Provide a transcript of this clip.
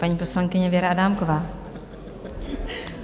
Paní poslankyně Věra Adámková.